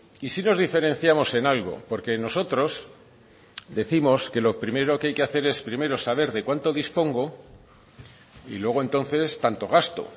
y sí nos diferenciamos en algo porque nosotros décimos que lo primero que hay que hacer es primero saber de cuánto dispongo y luego entonces tanto gasto